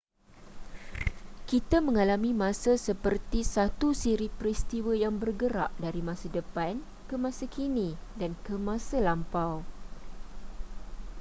kita mengalami masa seperti satu siri peristiwa yang bergerak dari masa depan ke masa kini dan ke masa lampau